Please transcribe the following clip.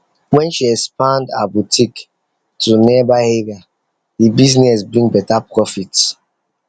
when she expand her boutique to nearby area the business bring better profit